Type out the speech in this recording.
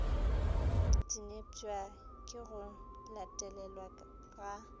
dinepša ke go latelelwa ga